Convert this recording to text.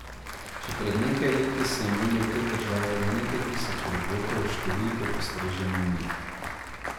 Še pred nekaj leti so imeli v tej državi le nekaj tisoč robotov, s številko postreže Munih.